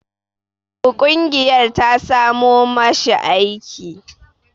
Ƙungiyar ta samo ma shi aiki.